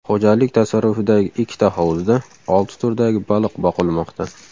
Xo‘jalik tasarrufidagi ikkita hovuzda olti turdagi baliq boqilmoqda.